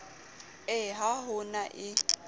ee ha ho na e